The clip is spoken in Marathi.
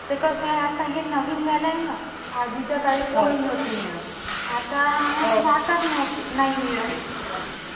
तर कसं आहे, आता हे नवीन झालंय ना. आधीच्या काळी पोळी नव्हती मिळत. आता अं साखर नव्हती, नाही मिळत.